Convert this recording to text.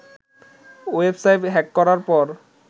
website hack করার পর